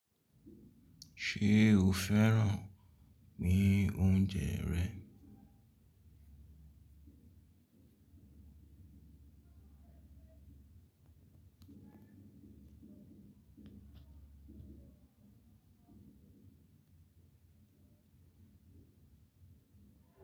Ṣe o fẹ́ràn mí ọ̀unjẹ rẹ̀?